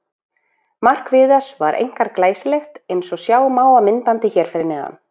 Mark Viðars var einkar glæsilegt eins og sjá má á myndbandi hér fyrir neðan.